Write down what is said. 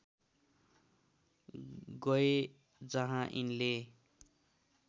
गए जहाँ यिनले